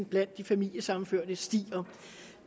blandt de familiesammenførte stiger